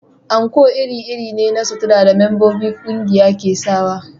Anko iri-iri ne na suturar da membobin ƙungiya ke sawa